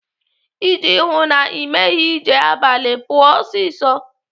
Iji hụụ na Ị meghị ije abalị, pụọ ọsịsọ.